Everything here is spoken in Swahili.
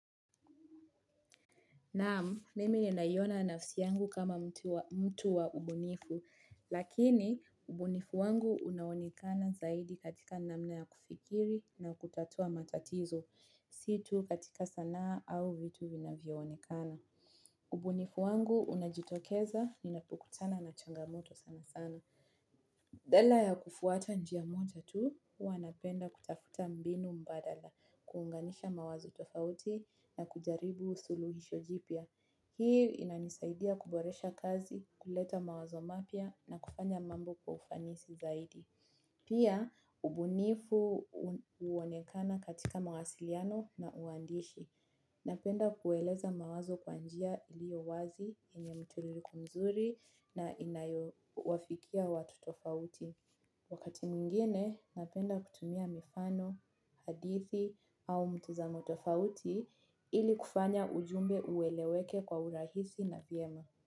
Naamu, mimi ninaiona nafsi yangu kama mtu wa mtu wa ubunifu, lakini ubunifu wangu unaonekana zaidi katika namna ya kufikiri na kutatua matatizo, si tu katika sanaa au vitu vinavyoonekana. Ubunifu wangu unajitokeza, ninapokutana na changamoto sana sana. Badala ya kufuata njia moja tu, huwa napenda kutafuta mbinu mbadala, kuunganisha mawazo tofauti na kujaribu suluhisho jipya. Hii inanisaidia kuboresha kazi, kuleta mawazo mapya na kufanya mambo kwa ufanisi zaidi. Pia, ubunifu huonekana katika mawasiliano na uandishi. Napenda kueleza mawazo kwa njia iliyo wazi yenye mtiririko mzuri na inayowafikia watu tofauti. Wakati mwingine napenda kutumia mifano, hadithi au mtazamo tofauti ili kufanya ujumbe ueleweke kwa urahisi na vyema.